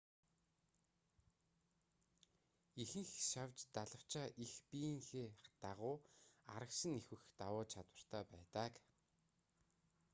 ихэнх шавж далавчаа их биеийнхээ дагуу арагш нь эвхэх давуу чадвартай байдаг